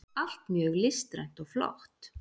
allt mjög listrænt og flott.